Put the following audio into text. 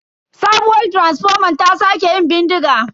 Sabuwar taransifoman ta sake yin bindiga.